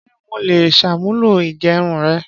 Ṣé mo lè ṣàmúlò igerun rẹ?